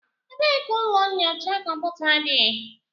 Ebee ka ụlọ nyocha kọmputa dị?